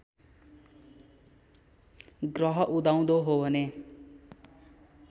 ग्रह उदाउँदो हो भने